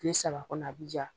Tile saba kɔnɔ a bɛ ja.